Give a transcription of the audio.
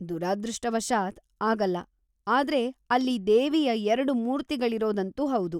ದುರದೃಷ್ಟವಶಾತ್‌, ಆಗಲ್ಲ; ಆದ್ರೆ ಅಲ್ಲಿ ದೇವಿಯ ಎರ್ಡು ಮೂರ್ತಿಗಳಿರೋದಂತೂ ಹೌದು.